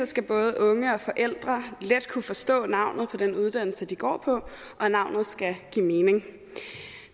skal både unge og forældre let kunne forstå navnet på den uddannelse de går på og navnet skal give mening